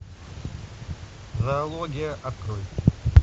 зоология открой